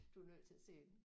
Du er nødt til at se den